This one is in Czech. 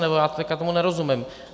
Nebo já tomu teď nerozumím.